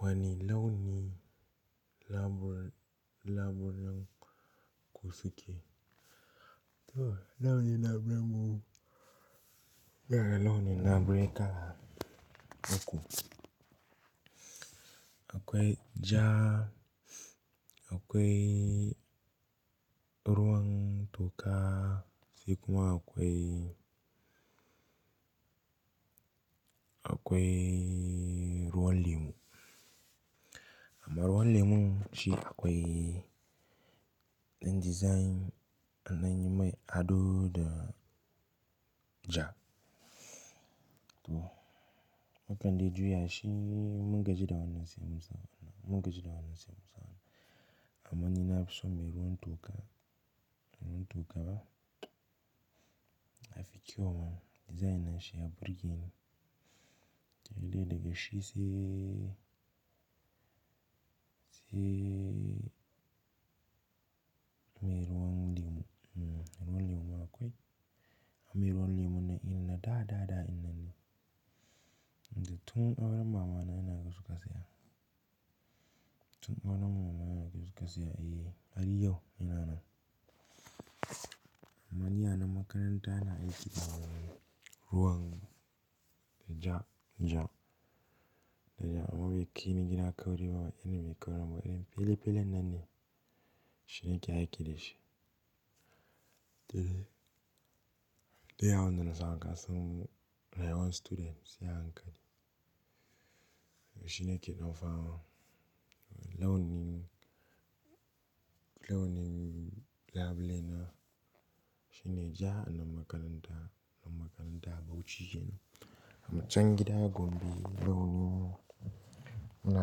Wani launi labule labulenan kusuke? To launi labulenan mu, gara launi labule ka naku. Akwai ja, akwai ruwan toka, sai kuma akwai, akwai ruwan lemu. Amma ruwan lemu shi akwai na design ana yin mai ado da ja. To, mukan dai juya shi in mungaji da wanna sai mu sa. Munga ji da wanna sai mu sa. Amma ni nafi so mai ruwan toka, ruwan toka ba. Ya fi kyau ma design na shi na burge ni. Dole ne ka shi se, se mai ruwan lemu. Mm-hmm, ruwan lemu ma akwai. Amma ruwan lemu na ina da dada ina ni. Tun auren mamana yana kasuwa sai haka. Tun auren mamana yana kasuwa sai haka. Eh, har yau yana nan. Amma ni a nan makaranta yana aiki da ruwan ja, ja. Da ja. Amma bikin ni kina kauri ba wa, yanayin mai kaura mu. Idan pele pele na ne shina ke aiki da shi. Dole, dole a wanda na sa an kasa mu, da yawan student sai a hankali. Shine ke dau fan. Launi, launi labule na shine ja na makaranta, nan makaranta bauci kenan. Amma can gida gombe launi mu na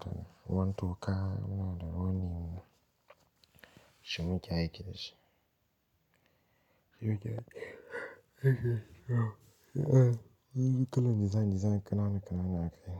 da ruwan toka, mu na da ruwan lemu shine ke aiki da shi. Shine yake aiki da shi. Eh, eh. Eh, eh. Yanzu kullum design design kana na kana na kai.